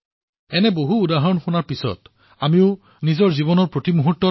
এনেকুৱা অনেক উদাহৰণ আছে যি শুনাৰ পিছত আমি উৎসাহিত হওঁ